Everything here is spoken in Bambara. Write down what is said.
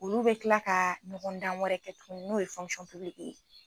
Olu bɛ kila ka ɲɔgɔn dan wɛrɛ kɛ tugunni n'o ye ye.